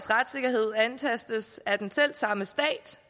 retssikkerhed antastes af den selv samme stat